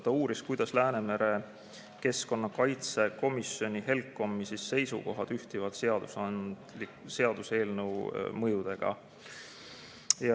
Ta uuris, kuidas Läänemere merekeskkonna kaitse komisjoni HELCOM-i seisukohad ühtivad seaduseelnõu mõjudega.